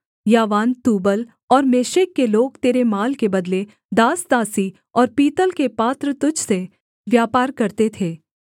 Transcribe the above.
यावान Tubal और Meshech के लोग तेरे माल के बदले दासदासी और पीतल के पात्र तुझ से व्यापार करते थे